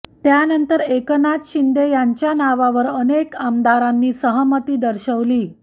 त्यानंतर एकनाथ शिंदे यांचं नावावर अनेक आमदारांनी सहमती दर्शवली